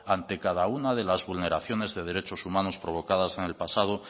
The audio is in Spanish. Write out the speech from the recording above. ante cada uno de las vulneraciones de derecho humanos provocadas en el pasado